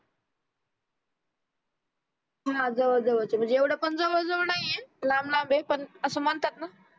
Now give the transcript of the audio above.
हा जवळ जवळ चे एवढं पण जवळजवळ नाहीये लांब लांब आहे पण असं म्हणतात ना